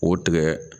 O tigɛ